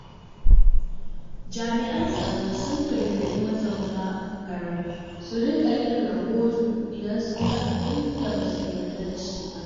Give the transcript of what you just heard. Jami'an tsaro sun gargaɗi mazauna garin su rika yin rahoto idan sun ga abin da ba su yarda da shi ba.